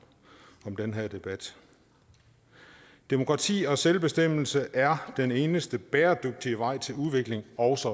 i den her debat demokrati og selvbestemmelse er den eneste bæredygtige vej til udvikling også